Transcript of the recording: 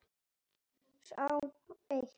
Sá hét